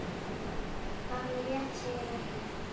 Það er rétt segir Oddur.